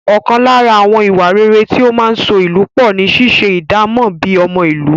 Ọkàn lára àwọn ìwà rere tí ó máa ń so ìlú pọ̀ ni ṣíṣe ìdámọ̀ bíi ọmọ ìlú.